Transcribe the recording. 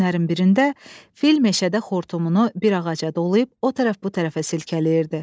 Günlərin birində fil meşədə xortumunu bir ağaca dolayıb o tərəf bu tərəfə silkələyirdi.